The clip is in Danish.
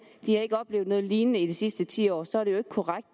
ikke har oplevet noget lignende i de sidste ti år så